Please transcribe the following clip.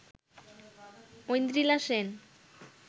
Aindrila Sen